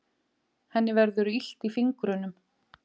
Henni verður illt í fingrunum.